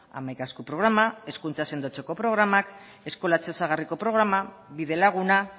hamaika esku programa hezkuntza sendotzeko programak eskolatze osagarriko programak bide laguna